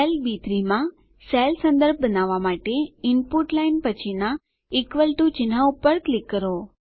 cell બી3 માં cell સંદર્ભ બનાવવા માટે ઇનપુટ લાઇન પછીનાં ઇક્વલ ટીઓ ચિન્હ પર ક્લિક કરો